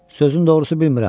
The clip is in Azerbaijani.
Sözün doğrusu bilmirəm.